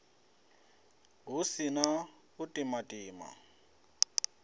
hu si na u timatima